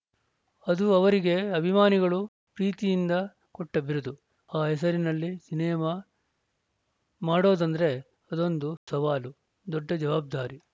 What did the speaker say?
ಅದು ಅವರಿಗೆ ಅಭಿಮಾನಿಗಳು ಪ್ರೀತಿಯಿಂದ ಕೊಟ್ಟ ಬಿರುದು ಆ ಹೆಸರಿನಲ್ಲಿ ಸಿನಿಮಾ ಮಾಡೋದಂದ್ರೆ ಅದೊಂದು ಸವಾಲು ದೊಡ್ಡ ಜವಾಬ್ದಾರಿ